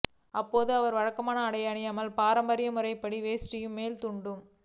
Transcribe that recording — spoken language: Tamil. அப்போது அவர் வழக்கமான ஆடைகள் அணியாமல் பாரம்பரிய முறைப்படி வேஷ்டியும் மேல் துண்டும்